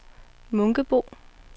Munkebo